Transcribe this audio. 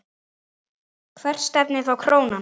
Hvert stefnir þá krónan?